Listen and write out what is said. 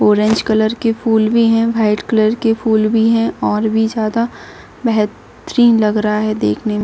Orange colour की फुल भी है व्हाइट कलर के फुल भी है और और भी ज़्यादा बेहतरिन लग रहा देखने में।